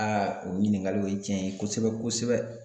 o ɲiningali o ye tiɲɛ ye kosɛbɛ kosɛbɛ